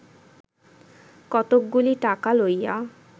কতকগুলি টাকা লইয়া